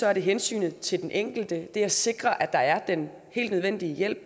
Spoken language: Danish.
er der hensynet til den enkelte det at sikre at der er den helt nødvendige hjælp